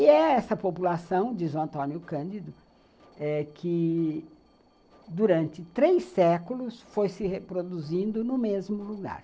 E é essa população, diz o Antônio Cândido, eh que durante três séculos foi se reproduzindo no mesmo lugar.